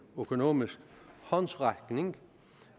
økonomisk håndsrækning